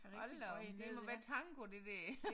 Hold da op det må være tango det der